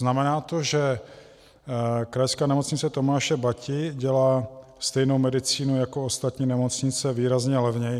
Znamená to, že Krajská nemocnice Tomáše Bati dělá stejnou medicínu jako ostatní nemocnice výrazně levněji.